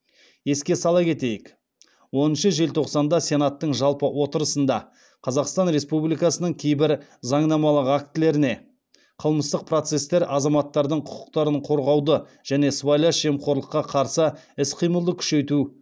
еске сала кетейік оныншы желтоқсанда сенаттың жалпы отырысында қазақстан республикасының кейбір заңнамалық актілеріне қылмыстық процестер азаматтардың құқықтарын қорғауды және сыбайлас жемқорлыққа қарсы іс қимылды күшейту